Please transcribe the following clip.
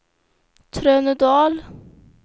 Trönödal